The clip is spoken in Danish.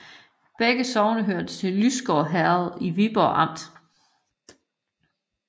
Begge sogne hørte til Lysgård Herred i Viborg Amt